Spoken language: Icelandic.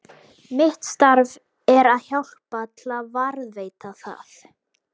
Mitt starf er að hjálpa til við að varðveita það.